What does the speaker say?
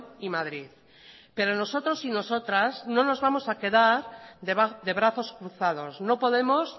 y madrid pero nosotros y nosotras no nos vamos a quedar de brazos cruzados no podemos